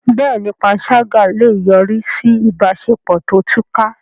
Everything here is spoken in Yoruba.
Bẹ́ẹ̀ni, panṣágà lè yọrí sí ìbáṣepọ̀ tó túká.